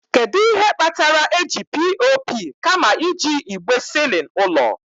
Kedu ihe kpatara eji POP kama iji igbe ceiling ụlọ?